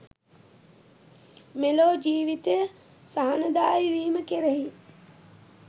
මෙලොව ජීවිතය සහනදායි වීම කෙරෙහි